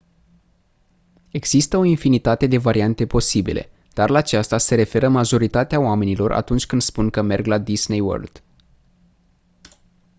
există o infinitate de variante posibile dar la aceasta se referă majoritatea oamenilor atunci când spun că «merg la disney world».